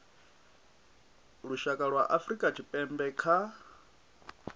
lushaka lwa afrika tshipembe kha